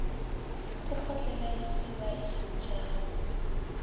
a kgotlele se ba ikgantšhago